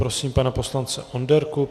Prosím pana poslance Onderku.